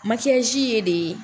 Makiasi ye de